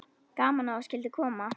Gaman að þú skyldir koma.